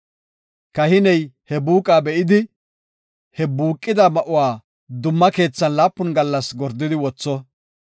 Kahiney he buuqa be7idi, he buuqida ma7uwa dumma keethan laapun gallas gordidi wotho.